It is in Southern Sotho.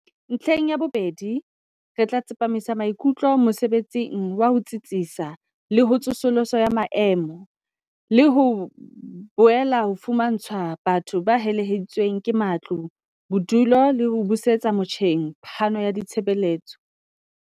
"Ntlheng ya bobedi, re tla tsepamisa maikutlo mosebetsing wa ho tsitsisa le ho tsosoloso ya maemo, le ho boela ho fumantshwa batho ba helehetsweng ke matlo bodulo le ho busetsa motjheng phano ya ditshebeletso."